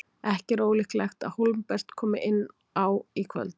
Ekki er ólíklegt að Hólmbert komi inn á í kvöld.